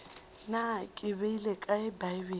na ke beile kae bibele